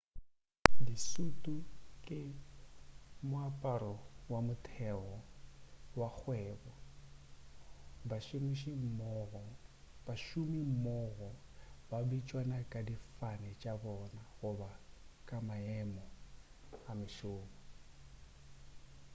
disutu ke moaparo wa motheo wa kgwebo bašomimmogo ba bitšana ka difane tša bona goba ka maemo a mešomo